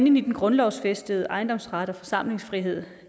ind i den grundlovsfæstede ejendomsret og forsamlingsfrihed